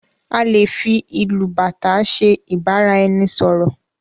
A lè fí ìlù bàtá ṣe ibaraẹnisọrọ.